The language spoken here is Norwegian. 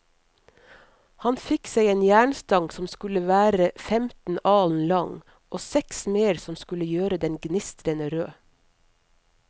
Han fikk seg en jernstang som skulle være femten alen lang, og seks smeder som skulle gjøre den gnistrende rød.